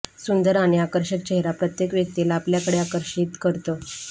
सुंदर आणि आकर्षक चेहरा प्रत्येक व्यक्तीला आपल्याकडे आकर्षित करतो